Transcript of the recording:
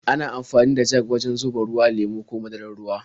Ana amfani da jag wajen zuba ruwa, lemo ko madarar ruwa.